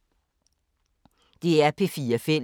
DR P4 Fælles